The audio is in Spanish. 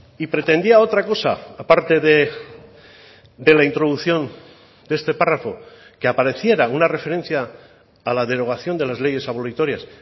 y pretendía otra cosa a parte de la introducción de este párrafo que apareciera una referencia a la derogación de las leyes abolitorias